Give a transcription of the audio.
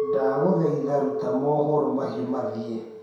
ndaguthaitha rũta mohoro mahĩũ ma thii